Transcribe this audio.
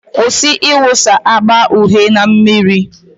Kwụsị ịwụsa agba uhie na mmiri.